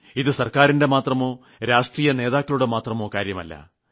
ഇത് സർക്കാരിന്റെ മാത്രമോ രാഷ്ട്രീയ നേതാക്കളുടെ മാത്രമോ കാര്യമല്ല